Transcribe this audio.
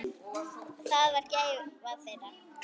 Það var þeirra gæfa.